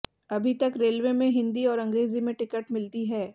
अभी तक रेलवे में हिंदी और अंग्रेजी में टिकट मिलती है